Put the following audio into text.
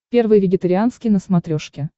первый вегетарианский на смотрешке